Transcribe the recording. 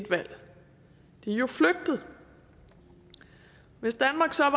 jo flygtet hvis danmark så